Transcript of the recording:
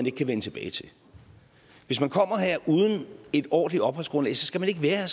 ikke kan vende tilbage til hvis man kommer her uden et ordentligt opholdsgrundlag skal man ikke være